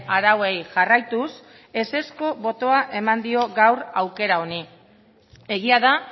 arauei jarraituz ezezko botoa eman dio gaur aukera honi egia da